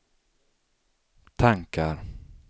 tankar